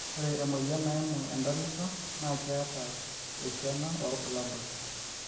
oore emoyian naimu entalipa na keeta eisiana oo irbulabul